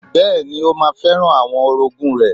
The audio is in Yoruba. Bẹ́ẹ̀ni, ó ma fẹ́ràn àwọn orogún rẹ̀.